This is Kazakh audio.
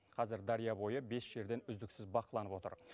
қазір дария бойы бес жерден үздіксіз бақыланып отыр